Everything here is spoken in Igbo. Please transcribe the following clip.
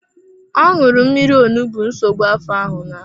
Ọ ṅụrụ mmírí onugbu nsogbu afọ ahụ laa.